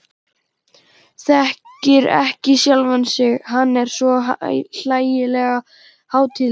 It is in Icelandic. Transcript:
Þekkir ekki sjálfan sig, hann er svo hlægilega hátíðlegur.